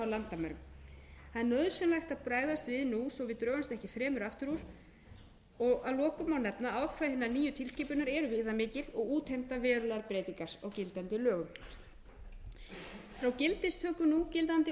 er nauðsynlegt að bregðast við nú svo við drögumst ekki fremur aftur úr að lokum má nefna að ákvæði hinnar nýju tilskipunar eru viðamikil og útheimta verulegar breytingar á gildandi lögum frá gildistöku núgildandi